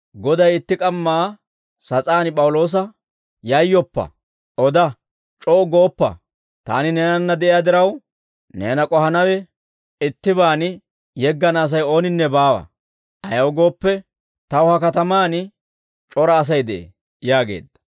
Goday itti k'amma sas'aan P'awuloosa, «Yayyoppa; oda; c'o"u gooppa. Taani neenanna de'iyaa diraw, neena k'ohanaw iitabaan yeggana Asay ooninne baawa; ayaw gooppe, taw ha katamaan c'ora Asay de'ee» yaageedda.